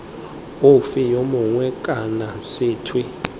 ofe yo mongwe kana sethwe